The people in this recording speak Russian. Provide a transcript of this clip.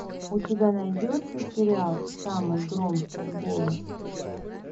у тебя найдется сериал самый громкий голос